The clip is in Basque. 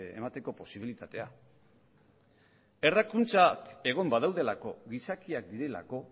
emateko posibilitatea errakuntzak egon badaudelako gizakiak direlako